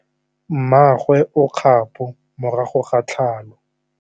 Mmagwe o kgapô morago ga tlhalô.